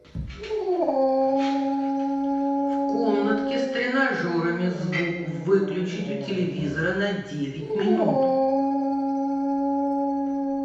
в комнатке с тренажерами звук выключить у телевизора на девять минут